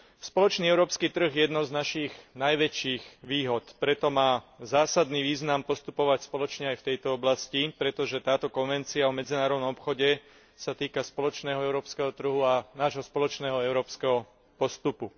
Spoločný európsky trh je jednou z našich najväčších výhod, preto má zásadný význam postupovať spoločne aj v tejto oblasti, pretože táto konvencia o medzinárodnom obchode sa týka spoločného európskeho trhu a nášho spoločného európskeho postupu.